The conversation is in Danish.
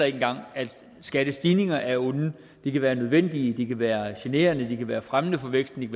ikke engang at skattestigninger er onde de kan være nødvendige de kan være generende de kan være fremmende for væksten